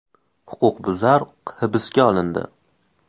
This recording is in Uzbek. Huquqbuzar hibsga olindi.